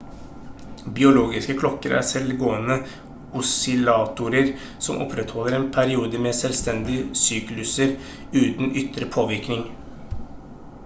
biologiske klokker er selvgående oscillatorer som opprettholder en periode med selvstendige sykluser uten ytre påvirkning